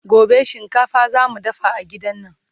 gobe shinkafa zamu dafa a gidan nan